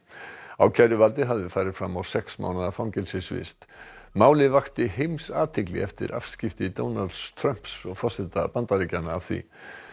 ákæruvaldið hafði farið fram á sex mánaða fangelsisvist málið vakti heimsathygli eftir afskipti Donalds Trumps forseta Bandaríkjanna af því